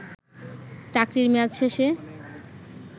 চাকরির মেয়াদ শেষে